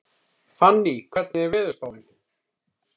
Fanný, hvernig er veðurspáin?